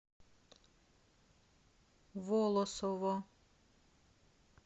волосово